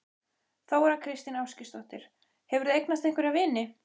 Þóra kristín Ásgeirsdóttir: Hefurðu eignast einhverja vini?